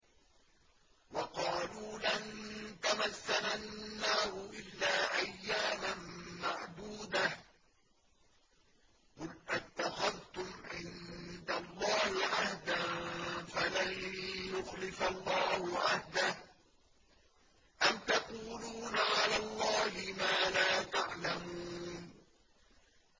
وَقَالُوا لَن تَمَسَّنَا النَّارُ إِلَّا أَيَّامًا مَّعْدُودَةً ۚ قُلْ أَتَّخَذْتُمْ عِندَ اللَّهِ عَهْدًا فَلَن يُخْلِفَ اللَّهُ عَهْدَهُ ۖ أَمْ تَقُولُونَ عَلَى اللَّهِ مَا لَا تَعْلَمُونَ